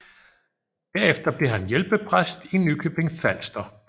Derefter blev han hjælpepræst i Nykøbing Falster